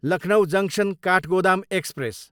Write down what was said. Lucknow junction, Kathgodam express